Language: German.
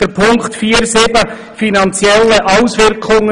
Es geht um Punkt 4.7, finanzielle Auswirkungen.